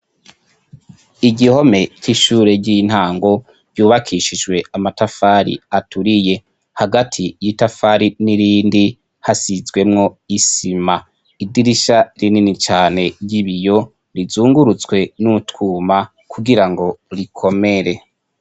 Igihome c'ishure ry'intango cubakishijwe amatafari aturiye hagati y'itafari n'irindi hasizemwo isima idirisha rinini cane ry'ibiyo rizungurutswe n'utwuma kugirango rikomere.